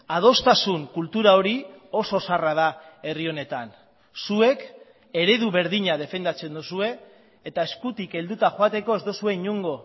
adostasun kultura hori oso zaharra da herri honetan zuek eredu berdina defendatzen duzue eta eskutik helduta joateko ez duzue inongo